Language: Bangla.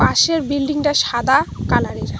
পাশের বিল্ডিংটা সাদা কালারের।